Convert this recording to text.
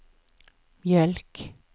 mjölk